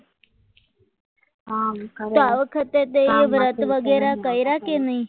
તો આ વખતે વગેરે કર્યા કે નહીં